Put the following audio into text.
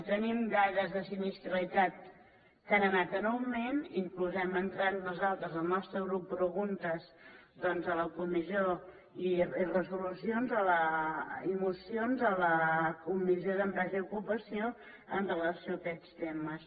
i tenim dades de sinistralitat que han anat en augment inclús hem entrat nosaltres el nostre grup preguntes doncs a la comissió i resolucions i mocions a la comissió d’empresa i ocupació amb relació a aquests temes